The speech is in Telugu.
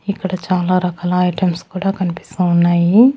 ఇక్కడ చాలా రకాల ఐటమ్స్ కూడా కన్పిస్తా ఉన్నాయి.